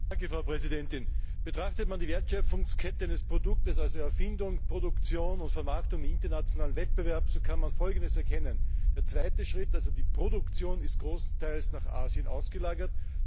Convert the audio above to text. Frau Präsidentin! Betrachtet man die Wertschöpfungskette eines Produktes also Erfindung, Produktion und Vermarktung im internationalen Wettbewerb, so kann man Folgendes erkennen Der zweite Schritt, also die Produktion, ist zum großen Teil nach Asien ausgelagert.